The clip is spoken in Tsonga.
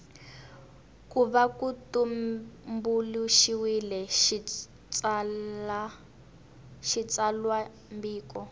ku va ku tumbuluxiwile xitsalwambiko